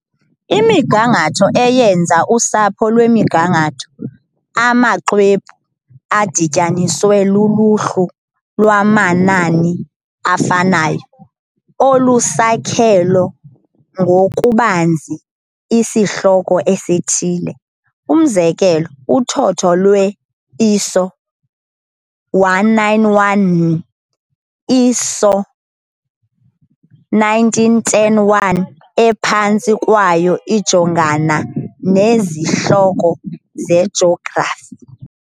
Imigangatho eyenza "usapho lwemigangatho" ngamaxwebhu, adityaniswe luluhlu lwamanani afanayo, olusakhelo ngokubanzi isihloko esithile, umzekelo, uthotho lwe-ISO 191nn, i-ISO 19101 ephantsi kwayo, ijongana nezihloko zejografi.